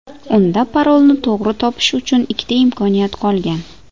Unda parolni to‘g‘ri topish uchun ikkita imkoniyat qolgan.